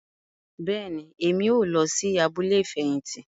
Bẹẹni, Èmí o lọ sí abúlé ifẹhinti